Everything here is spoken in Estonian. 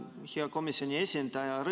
Hea komisjoni esindaja!